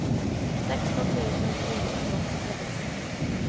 sexton tusen niohundraåttiosex